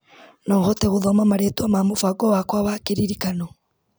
No ũhote gũthoma marĩtwa ma mũbango wakwa wa kĩririkano.